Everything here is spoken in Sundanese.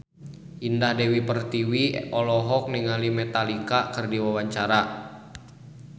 Indah Dewi Pertiwi olohok ningali Metallica keur diwawancara